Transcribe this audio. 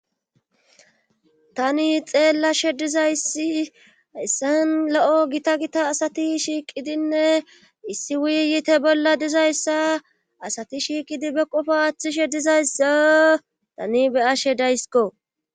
tani xeellashe dizayssi hayissan lo'o gita gita asati shiiqidinne issi wuyyite bolla dizayssa asati shiiqidi be qofa aaththishe dizayssa tani be'ashe daysiko